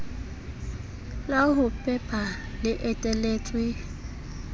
la ho pepa le eteletswe